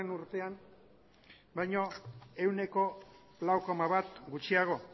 urtean baino ehuneko lau koma bat gutxiago